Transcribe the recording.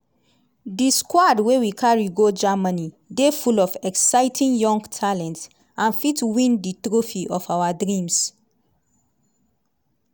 di squad wey we carry go germany dey full of exciting young talent and fit win di trophy of our dreams.